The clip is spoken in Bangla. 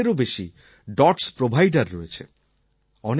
চার লাখেরও বেশি ডটস প্রভিদের রয়েছে